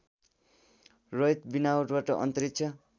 रहित विमानवाट अन्तरिक्ष